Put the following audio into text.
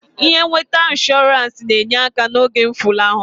Ihe nweta inshọrans na-enye aka n'oge mfụlahụ.